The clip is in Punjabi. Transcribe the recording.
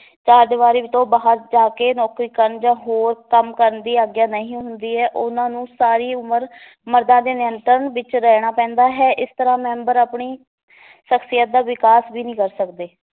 ਚਾਰ ਦੀਵਾਰੀ ਤੋਂ ਬਾਹਰ ਜਾ ਕੇ ਨੌਕਰੀ ਕਰਨ ਜਾਂ ਹੋਰ ਕੰਮ ਕਰਨ ਦੀ ਆਗਿਆ ਨਹੀਂ ਹੁੰਦੀ ਹੈ, ਉਹਨਾਂ ਨੂੰ ਸਾਰੀ ਉਮਰ ਮਰਦਾਂ ਦੇ ਨਿਯੰਤਰਣ ਵਿਚ ਰਹਿਣਾ ਪੈਂਦਾ ਹੈ ਇਸ ਤਰਾਂ ਮੈਂਬਰ ਆਪਣੀ ਸਖ਼ਸੀਅਤ ਦਾ ਵਿਕਾਸ ਵੀ ਨੀ ਕਰ ਸਕਦੇ